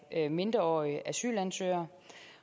af mindreårige asylansøgere